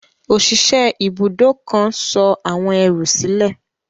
Òṣìṣẹ́ ibùdó kan sọ àwọn ẹrù sílẹ̀.